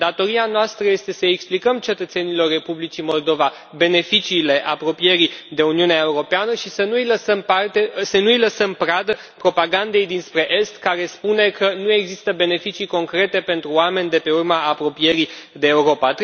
Datoria noastră este să explicăm cetățenilor Republicii Moldova beneficiile apropierii de Uniunea Europeană și să nu i lăsăm pradă propagandei dinspre est care spune că nu există beneficii concrete pentru oameni de pe urma apropierii de Europa.